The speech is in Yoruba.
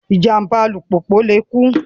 Ìjàm̀bá alùpùpù lè kú